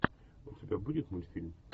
у тебя будет мультфильм